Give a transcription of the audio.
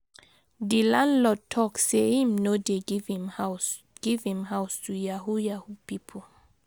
Di landlord talk sey im no dey give him house give him house to yahoo yahoo pipo.